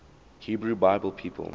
hebrew bible people